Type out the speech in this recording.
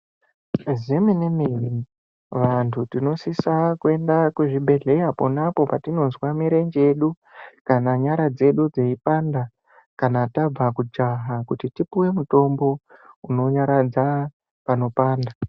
Zve mene mene vantu tinosisa kuenda ku zvibhedhlera ponapo patinozwa mirenje yedu kana nyara dzedu dzeyi panda kana tabva kujaha kuti tipuwe mitombo uno nyaradza panopanda.